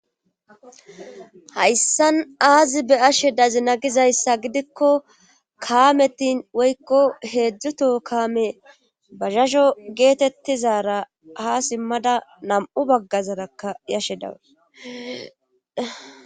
hayssan aazi be ashe dazi nagizayssa gidikko kaametin woykko heedzdzuto kaame bahasho geetettizara ha simmada nam7u baggazarakka yashe dawes